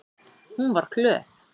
Hún var glöð.